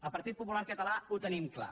el partit popular català ho tenim clar